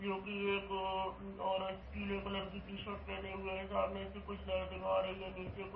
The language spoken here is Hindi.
क्योंकि एक अ औरत पीले कलर की टी-शर्ट पहने हुए है | सामने से कुछ लाइटिंग आ रही है | नीचे कुछ --